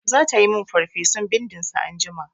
Zata yi min farfesun bindin sa anjima.